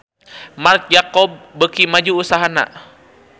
Marc Jacob beuki maju usahana